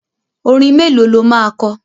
Orin mélòó lo máa kọ?